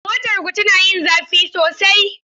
Motarku tana yin zafi sosai?